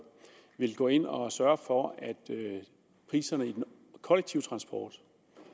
vil gå ind og sørge for at priserne i den kollektive transport